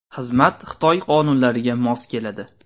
Xizmat Xitoy qonunlariga mos keladi.